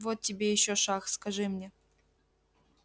вот тебе ещё шах скажи мне